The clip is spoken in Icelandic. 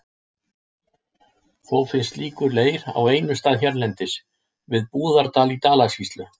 Þó finnst slíkur leir á einum stað hérlendis, við Búðardal í Dalasýslu.